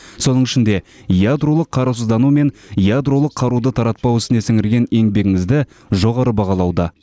соның ішінде ядролық қарусыздану мен ядролық қаруды таратпау ісіне сіңірген еңбегіңізді жоғары бағалауда